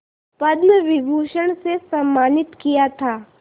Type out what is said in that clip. पद्म विभूषण से सम्मानित किया था